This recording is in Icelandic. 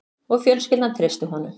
Og fjölskyldan treysti honum